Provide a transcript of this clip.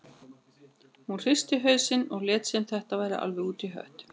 Hún hristi hausinn og lét sem þetta væri alveg út í hött.